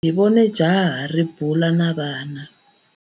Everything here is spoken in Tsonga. Hi vone jaha ri bula na vana.